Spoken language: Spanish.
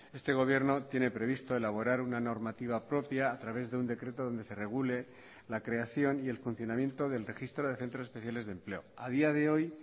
este gobierno tiene previsto elaborar una normativa propia a través de un decreto donde se regule la creación y el funcionamiento del registro de centros especiales de empleo a día de hoy